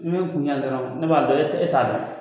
Ne ɲe kunjan dɔrɔn ne b'a bɛ la e t'a e t'a da.